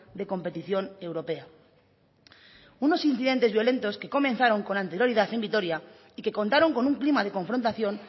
de competición europea unos incidentes violentos que comenzaron con anterioridad en vitoria y que contaron con un clima de confrontación